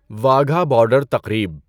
Wagah border تقریب